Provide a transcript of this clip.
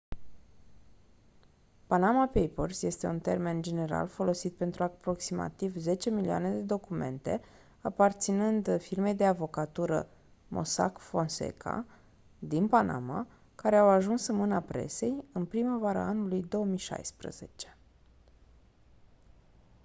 panama papers este un termen general folosit pentru aproximativ zece milioane de documente aparținând firmei de avocatură mossack fonseca din panama care au ajuns în mâna presei în primăvara anului 2016